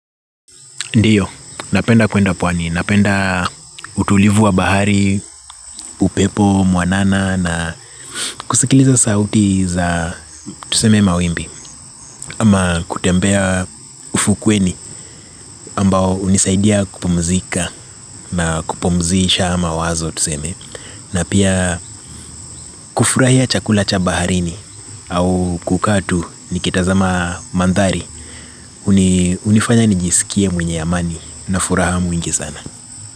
Ndiyo, napenda kwenda pwani. Napenda utulivu wa bahari, upepo mwanana na kusikiliza sauti za tuseme mawimbi. Ama kutembea ufukuweni, ambao unisaidia kupumzika na kupumzisha mawazo tuseme. Na pia kufurahia chakula cha baharini au kukaa tu nikitazama mandhari. Unifanya nijisikie mwenye amani na furaha, mingi sana.